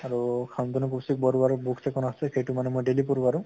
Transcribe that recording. আৰু শান্তনু কৌশিক বৰুৱাৰো books এখন আছে সেইটো মানে মই daily পঢ়ো আৰু